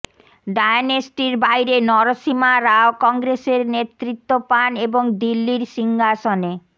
ডায়নেস্টির বাইরে নরসীমা রাও কংগ্রেসের নেতৃত্ব পান এবং দিল্লির সিংহাসনে